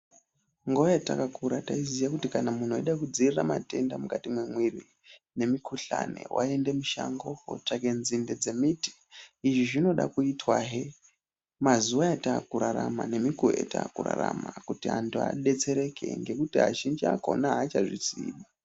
Nguwa yatakakura taiziye kuti kana muntu weide kudziirire matenda mukati mwemwiri nemikhuhlani waiende mushango kotsvake ndzinde dzemiti izvi zvinode kuitwa he mazuwa ataakurarama nemikuwo yatirikurarama kuti antu adetsereke ngekuti azhinji akaona achazviziyi.